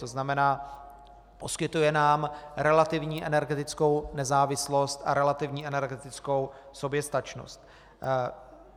To znamená, poskytuje nám relativní energetickou nezávislost a relativní energetickou soběstačnost.